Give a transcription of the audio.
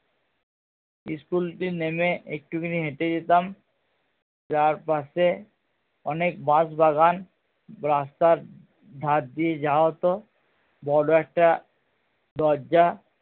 school টি নেমে একটুখানি হেটে যেতাম যার পাশে অনেক বাঁশবাগান রাস্তার ধার দিয়ে যাওয়া হতো বড়ো একটা দরজা